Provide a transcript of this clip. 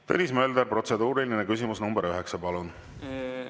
Tõnis Mölder, protseduuriline küsimus nr 9, palun!